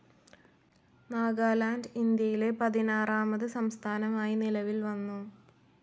നാഗാലാന്റ്, ഇന്ത്യയിലെ പതിനാറാമത് സംസ്ഥാനമായി നിലവിൽ വന്നു.